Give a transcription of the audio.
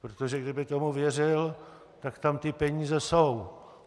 Protože kdyby tomu věřil, tak tam ty peníze jsou.